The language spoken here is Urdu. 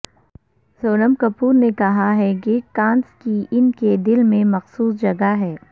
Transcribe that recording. سونم کپور نے کہا کہ کانز کی ان کے دل میں مخصوص جگہ ہے